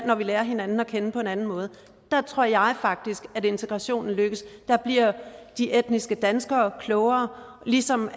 at vi lærer hinanden at kende på en anden måde der tror jeg faktisk at integrationen lykkes der bliver de etniske danskere klogere ligesom